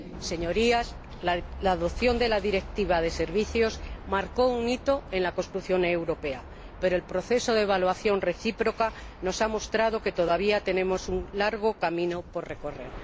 Señorías, la adopción de la Directiva de servicios marcó un hito en la construcción europea, pero el proceso de evaluación recíproca nos ha mostrado que todavía tenemos un largo camino por recorrer.